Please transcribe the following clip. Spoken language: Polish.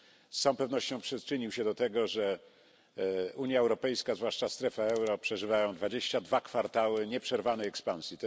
Z całą pewnością przyczynił się do tego, że Unia Europejska zwłaszcza strefa euro przeżywa 22 kwartały nieprzerwanej ekspansji.